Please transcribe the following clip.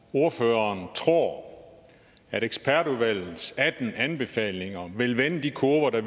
ordføreren tror at ekspertudvalgets atten anbefalinger vil vende de kurver der